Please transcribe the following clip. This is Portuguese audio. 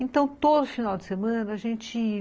Então, todo final de semana, a gente ia.